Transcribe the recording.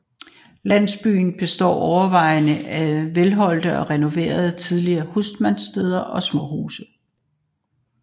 Landsby består overvejende af velholdte og renoverede tidligere husmandssteder og småhuse